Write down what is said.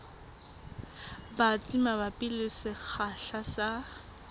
batsi mabapi le sekgahla sa